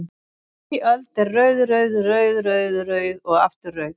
Ný öld er rauð, rauð, rauð, rauð, rauð og aftur rauð?